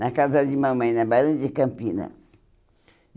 Na casa de mamãe, na Barão de Campinas.